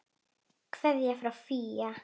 Kveðja frá FÍA.